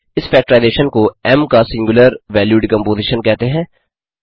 इस फैक्टराइजेशन को M M का सिंग्युलर वैल्यू डिकम्पोज़ीशन कहते हैं